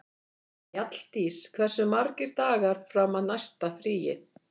Mjalldís, hversu margir dagar fram að næsta fríi?